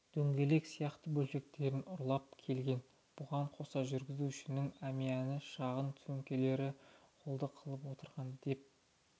дөңгелек сияқты бөлшектерін ұрлап келген бұған қоса жүргізушінің әмияны шағын сөмкелерін қолды қылып отырған деп